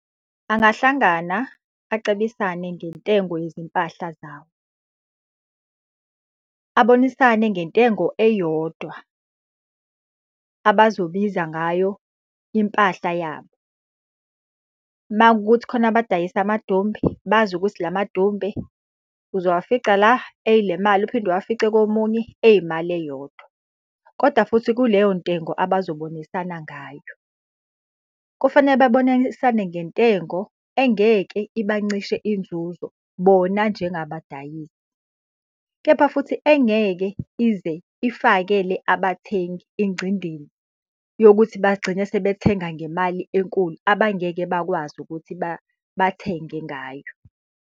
Angahlangana, acebisane ngentengo yezimpahla zawo. Abonisane ngentengo eyodwa abazobiza ngayo impahla yabo. Uma kuwukuthi khona abadayisa amadumbe, bazi ukuthi la madumbe uzowafica la ey'le mali, uphinde uwafice komunye eyimali eyodwa. Kodwa futhi kuleyo ntengo abazobonisana ngayo. Kufanele babonisane ngentengo engeke ibancishe inzuzo bona njengabadayisi. Kepha futhi engeke ize ifakele abathengi ingcindini yokuthi bagcine sebethenga ngemali enkulu abangeke bakwazi ukuthi bathenge ngayo.